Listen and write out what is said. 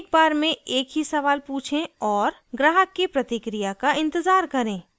एक बार में एक ही सवाल पूछें और ग्राहक की प्रतिक्रिया का इंतज़ार करें